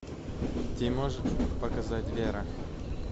ты можешь показать вера